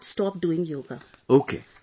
Sir, I have not stopped doing Yoga